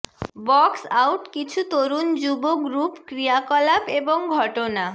box out কিছু তরুণ যুব গ্রুপ ক্রিয়াকলাপ এবং ঘটনা